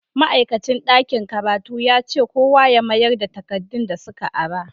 Ma'aikacin dakin karatu yace kowa ya mayarda takadun da suka ara.